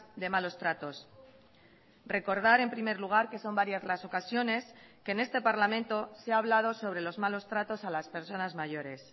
de malos tratos recordar en primer lugar que son varias las ocasiones que en este parlamento se ha hablado sobre los malos tratos a las personas mayores